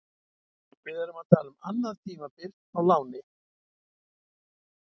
Við erum að tala um annað tímabil á láni.